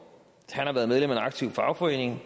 han har været medlem af en aktiv fagforening